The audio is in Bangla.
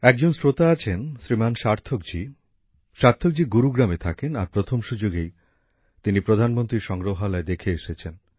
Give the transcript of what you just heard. এক জন শ্রোতা আছেন শ্রীমান সার্থক জী− সার্থক জী গুরুগ্রামে থাকেন আর প্রথম সুযোগেই তিনি প্রধানমন্ত্রী সংগ্রহালয় দেখে এসেছেন